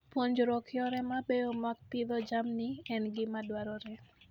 Puonjruok yore mabeyo mag pidho jamni en gima dwarore.